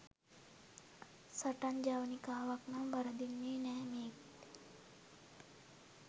සටන් ජවනිකාවක් නම් වරදින්නේ නැහැ මේක්.